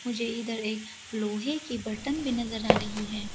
मुझे इधर एक लोहे की बर्तन भी नजर आ रही है।